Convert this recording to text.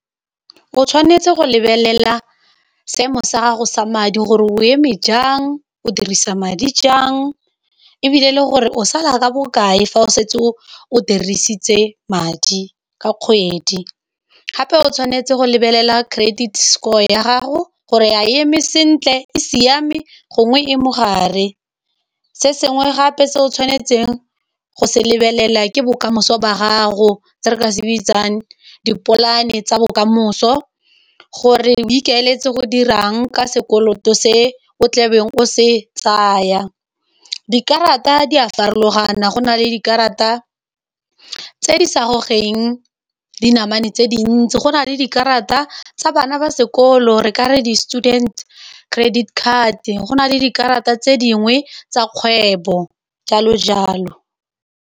O tshwanetse go lebelela seemo sa gago sa madi gore o eme jang o dirisa madi jang e bile le gore o sala ka bokae fa o setse o o dirisitse madi ka kgwedi, gape o tshwanetse go lebelela credit score ya gago gore ya eme sentle, e siame gongwe e mogare, se sengwe gape se o tshwanetseng go se lebelela ke bokamoso ba gago tse re se bitsang dipolane tsa bokamoso, gore o ikaeletse go dirang ka sekoloto se o tlabeng o se tsaya, dikarata di a farologana go na le dikarata tse di sa gogeng dinamane tse dintsi go na le dikarata tsa bana ba sekolo re ka re di-student credit card go na le dikarata tse dingwe tsa kgwebo jalo jalo.